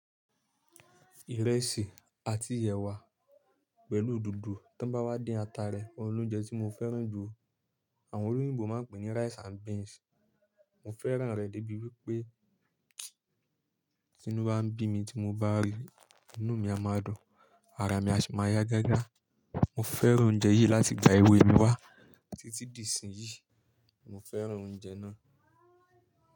Ìrẹsì àti ẹwa pẹ̀lú dodo ti won bá wá dín ata rẹ, òun ni ounjẹ tí mo fẹ́ràn jù. Àwọn olóyìnbo máa ń pè ní rice and beans. Mo fẹ́ràn rẹ̀ débi wípé tìnú bá ń bí mi tí mo bá ríi, inú mi a máa dùn, ara mi a sì máa yá gágá. Mo fẹ́ràn oúnjẹ yìí láti ìgbà èwe mi wá títí di ìsìn yìí, mo fẹ́ràn oúnjẹ náà.